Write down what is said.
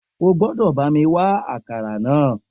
O gbọ́dọ̀ bá mi wá akara náà